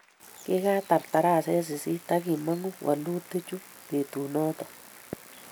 Kikatar taraset sisit akimang'u walutikik chuk betut noto